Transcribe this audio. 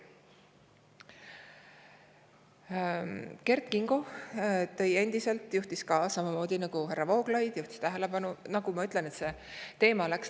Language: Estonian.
Kert Kingo juhtis samamoodi nagu härra Vooglaid tähelepanu sellele, et.